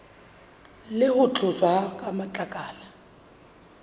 le ho tloswa ha matlakala